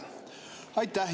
Aitäh!